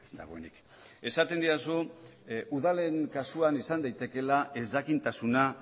dagoenik esaten didazu udalen kasuan izan daitekeela ezjakintasuna